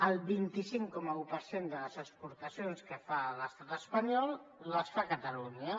el vint cinc coma un per cent de les exportacions que fa l’estat espanyol les fa catalunya